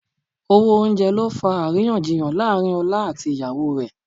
Owó oúnjẹ ló fa àríyànjiyàn láàrín ọlá àti ìyàwó rẹ̀